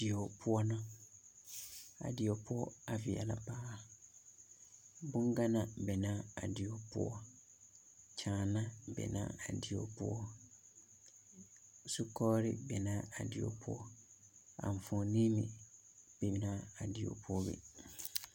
Bie poɔ la a die poɔ a veɛlɛ paa boŋganaa a be la a die poɔ kyanaa be la a die poɔ zukogere be na a die poɔ enfuoni meŋ be na a die poɔ be